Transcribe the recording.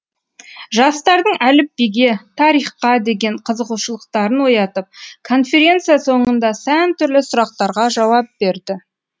жастардың әліпбиге тарихқа деген қызығушылықтарын оятып конференция соңында сан түрлі сұрақтарға жауап берді